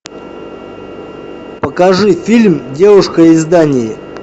покажи фильм девушка из дании